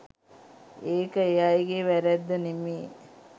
ඒක ඒ අයගේ වැරැද්ද නෙමේ.